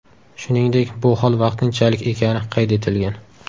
Shuningdek, bu hol vaqtinchalik ekani qayd etilgan.